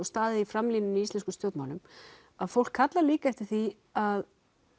staðið í framlínunni í íslenskum stjórnmálum að fólk kallar líka eftir því að